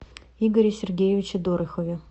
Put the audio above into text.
игоре сергеевиче дорохове